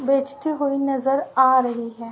बेचती हुई नजर आ रही है।